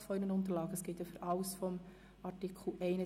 Ihrer Unterlagen plus Antrag Machado auf der Liste gegenüberstellen.